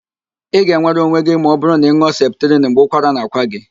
Ị ga-enwere onwe gị ma ọbụrụ na ị nụọ septrin mgbe ụkwara na-akwa gị.